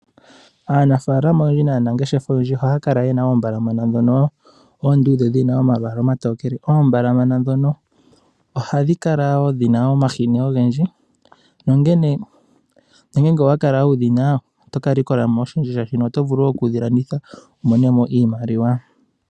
Aanafaalama oyendji naanangeshefa oyendji ohaya kala ye na oombalamana ndhono oonduudhe dhi na omalwaala omatokele. Oombalamana ndhono ohadhi kala wo dhi na omahini ogendji nongele owa kala wudhina, oto ka likola mo oshindji shaashino oto vulu wo okudhi landitha opo wu mone mo iimaliwa.